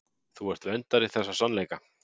Þú ert verndari þessa sannleika.